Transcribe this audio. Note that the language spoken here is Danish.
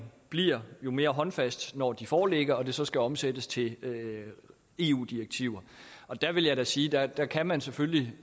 bliver jo mere håndfast når de foreligger og så skal omsættes til eu direktiver der vil jeg da sige at der kan man selvfølgelig